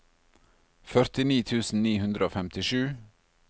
førtini tusen ni hundre og femtisju